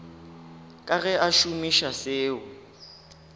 ka ge a šomiša seo